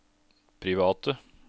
private